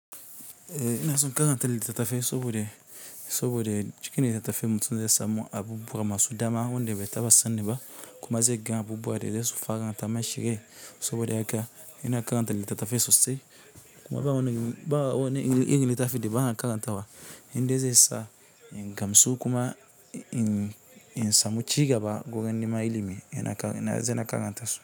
Ina so karantan litta tafai, sobode, sabode cikin litta tafai mutum zay samu abubuwa masu dama wanda bai taɓa sani ba, kuma zai ga abubuwa da zasu fara shirye, saboda haka ina karanta litta tafai sosai kuma ba wani, ba wani irin littafin da bana karantawa indai zai sa ingamsu kuma in samu cigaba gurin neman ilimi zana karantasu.